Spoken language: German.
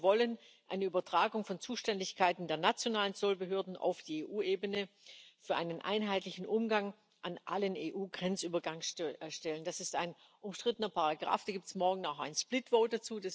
Und wir wollen eine Übertragung von Zuständigkeiten der nationalen Zollbehörden auf die EU Ebene für einen einheitlichen Umgang an allen EU Grenzübergangsstellen. Das ist ein umstrittener Paragraf, dazu gibt es morgen auch ein split vote